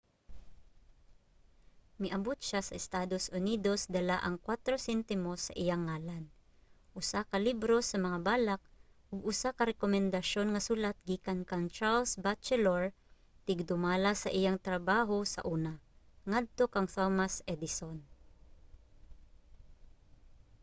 miabot siya sa estados unidos dala ang 4 sentimos sa iyang ngalan usa ka libro sa mga balak ug usa ka rekomendasyon nga sulat gikan kang charles batchelor tigdumala sa iyang trabaho sa una ngadto kang thomas edison